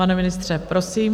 Pane ministře, prosím.